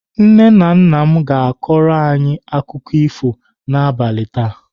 Nna nna m ga-akọrọ anyị akụkọ ifo n'abalị taa